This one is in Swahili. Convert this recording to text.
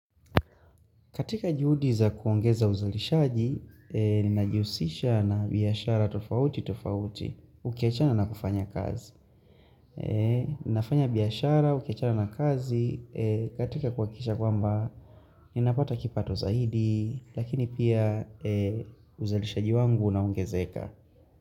Katika juhudi za kuongeza uzalishaji, ninajihusisha na biashara tofauti tofauti, ukiachana na kufanya kazi. Ninafanya biashara, ukiachana na kazi, katika kuhakikisha kwamba, ninapata kipato zaidi, lakini pia uzalishaji wangu na ungezeka.